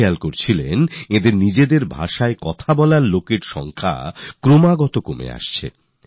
এই মানুষেরা একথা ভেবে খুবই ব্যথিত হতেন যে এদের ভাষায় কথা বলার লোক ক্রমেই কমে যাচ্ছে